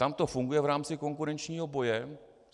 Tam to funguje v rámci konkurenčního boje.